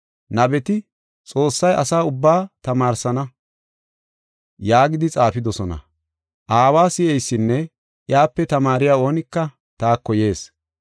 Nabeti, ‘Xoossay asa ubbaa tamaarsana’ yaagidi xaafidosona. Aawa si7eysinne iyape tamaariya oonika taako yees.